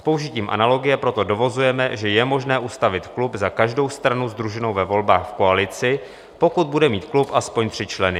S použitím analogie proto dovozujeme, že je možné ustavit klub za každou stranu sdruženou ve volbách v koalici, pokud bude mít klub aspoň tři členy.